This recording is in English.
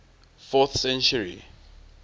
fourth century